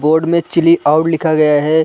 Board में chill out लिखा गया है।